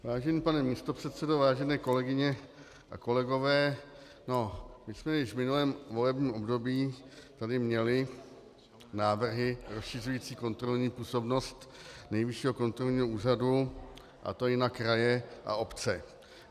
Vážený pane místopředsedo, vážené kolegyně a kolegové, my jsme již v minulém volebním období tady měli návrhy rozšiřující kontrolní působnost Nejvyššího kontrolního úřadu, a to i na kraje a obce.